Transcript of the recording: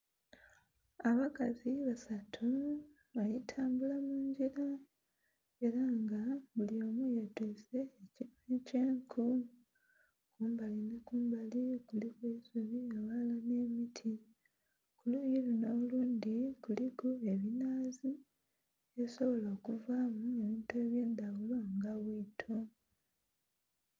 Abakazi basatu Bali tambula mungila era nga bulyomu ye twise ekinhwa ekye enku. Kumbali nhi kumbali kuliku eisubi aghalala nhe miti, kuluyi lunho olundhi kuliku ebinhaazi ebisobola okuvamu ebintu ebye ndhaghulo nga bwiito.